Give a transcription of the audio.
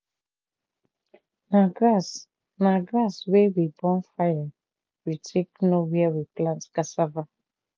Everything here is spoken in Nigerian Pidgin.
na grass na grass wey we burn fire we take know where we plant cassava.